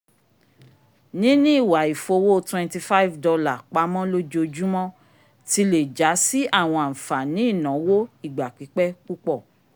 níní ìwà if'owo twenty five dollar pamọ lojoojumọ ti le ja si awọn anfani ìnáwó ìgbà pipẹ púpọ